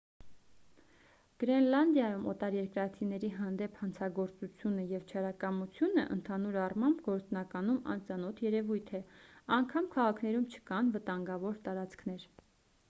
գրենլանդիայում օտարերկրացիների հանդեպ հանցագործությունը և չարակամությունը ընդհանուր առմամբ գործնականում անծանոթ երևույթ է անգամ քաղաքներում չկան վտանգավոր տարածքներ